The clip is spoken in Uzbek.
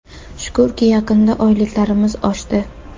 Shukurki, yaqinda oyliklarimiz oshdi.